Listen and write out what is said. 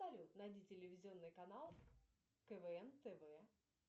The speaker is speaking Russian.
салют найди телевизионный канал квн тв